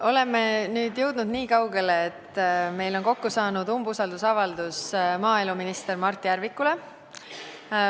Oleme nüüd jõudnud niikaugele, et meil on kokku saanud umbusaldusavaldus maaeluminister Mart Järvikule.